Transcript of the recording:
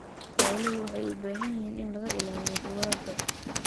Xooluhu waxay u baahan yihiin in laga ilaaliyo dugaagga.